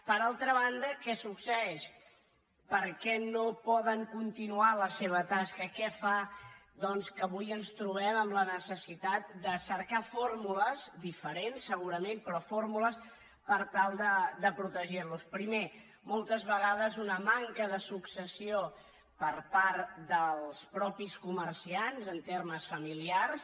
per altra banda què succeeix per què no poden continuar la seva tasca què fa que avui ens trobem amb la necessitat de cercar fórmules diferents segurament però fórmules per tal de protegir los primer moltes vegades una manca de successió per part dels mateixos comerciants en termes familiars